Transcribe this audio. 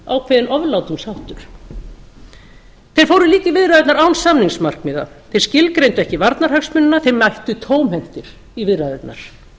ákveðinn oflátungsháttur þeir fóru líka í viðræðurnar án samningsmarkmiða þeir skilgreindu ekki varnarhagsmunina þeir mættu tómhentir í viðræðurnar